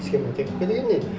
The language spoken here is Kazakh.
схемотехника деген не